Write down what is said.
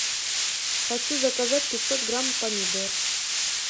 хочу заказать пятьсот грамм помидор